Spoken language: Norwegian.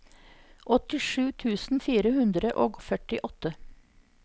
åttisju tusen fire hundre og førtiåtte